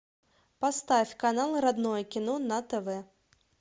поставь канал родное кино на тв